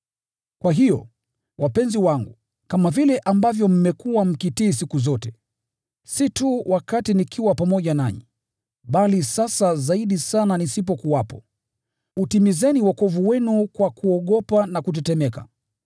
Kwa hiyo, wapenzi wangu, kama vile ambavyo mmekuwa mkitii siku zote, si tu wakati nikiwa pamoja nanyi, bali sasa zaidi sana nisipokuwepo, utimizeni wokovu wenu kwa kuogopa na kutetemeka,